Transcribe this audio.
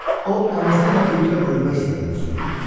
O anası ilə birgə ölmək istədiyini söyləyirdi.